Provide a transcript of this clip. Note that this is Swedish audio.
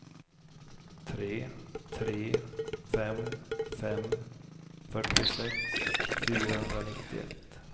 tre tre fem fem fyrtiosex fyrahundranittioett